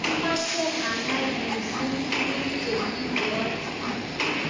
Amache anai mising' tuguk che ibwoti